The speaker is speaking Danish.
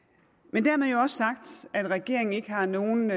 men dermed jo også sagt at regeringen ikke har nogen